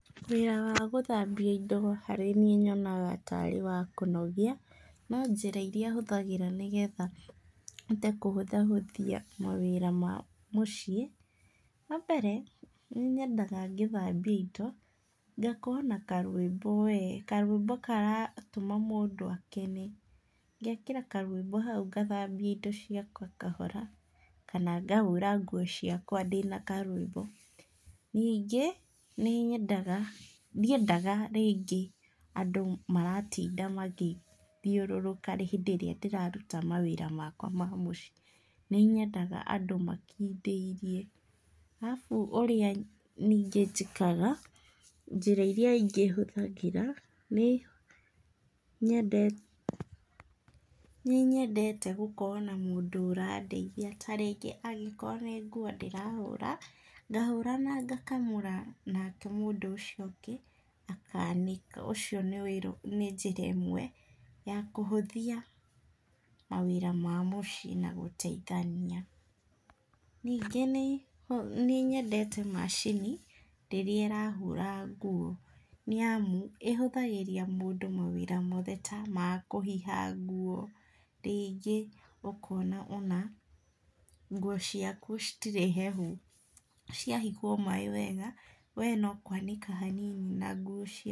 Wĩra wa gũthambia indo harĩ niĩ nyonaga tarĩ wa kũnogia, no njĩra ĩrĩa hũthagĩra nĩgetha hote kũhũthahũthia mawĩra ma mũciĩ, wa mbere, nĩ nyendaga ngĩthambia indo, ngakorwo na karwĩmbo we karwĩmbo karatũma mũndũ akene, ngekĩra karwĩmbo hau ngathambia indo ciakwa kahora, kana ngahũra nguo ciakwa ndĩna karwĩmbo, ningĩ nĩ nyendaga, ndiendaga ringĩ andũ maratinda magĩthiũrũrũka hĩndĩ ĩrĩa ndĩra ruta mawĩra makwa ma mũciĩ, nĩ nyendaga andũ makindĩirie, arabũ ũrĩa ningĩ njĩkaga, njĩra ĩrĩa ĩngĩhũthagĩra nĩ nyendete, nĩ nyendete gũkorwo na mũndũ ũradeithia , ta rĩngĩ nĩ nguo ndĩrahũra , ngahũra nanga kamũra nake mũndũ ũcio ũngĩ ,akanĩka , ũcio nĩ njĩra ĩmwe ya kũhũthia mawĩra ma mũciĩ na gũtheithania, ningĩ nĩ nyendete macini ĩrĩa ĩrahũra nguo nĩ amu, ĩhũthagĩria mũndũ mawĩra ta ma kũhiha nguo, ringĩ ũkona atĩ nguo citirĩ hehu, cia hihwo maaĩ wega , we no kwanĩka hanini na nguo cia.